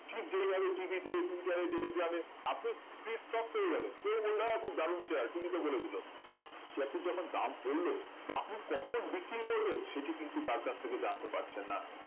ঠিক যেভাবে TV তে টুইটারে টেলিগ্রামে আপনি free stock পেয়ে যাবেন কেউ বললো দাদা খুব ভালো share TV তে বলে দিলো share টির যখন দাম পড়লো বা আপনি কখন বিক্রি করবেন সেটি কিন্তু তার কাছ থেকে জানতে পারছেন না